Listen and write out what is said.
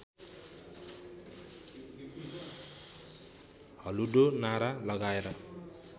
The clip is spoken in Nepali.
हल्लुडो नारा लगाएर